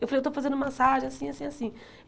Eu falei, eu estou fazendo massagem assim, assim, assim.